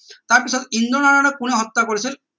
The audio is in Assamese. তাৰ পিছত ইন্দ্ৰনাৰায়নক কোনে হত্যা কৰিছিল